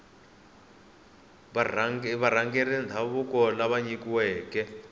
varhangeri va ndhavuko lava nyikiweke